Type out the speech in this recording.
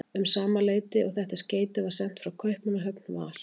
Um sama leyti og þetta skeyti var sent frá Kaupmannahöfn, var